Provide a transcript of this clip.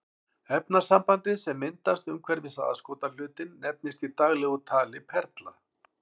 Efnasambandið sem myndast umhverfis aðskotahlutinn nefnist í daglegu tali perla.